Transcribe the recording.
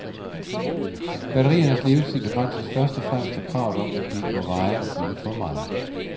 Batteriernes levetid begrænses først og fremmest af kravet om, at de ikke må veje og fylde for meget.